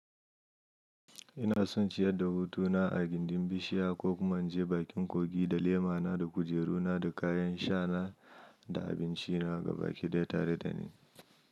Ina son ciyar da hutuna a gindin bishiya ko kuma inje bakin kogi da lemana da kujeru na da kayan sha na da abinci na ga baki daya tare da ni.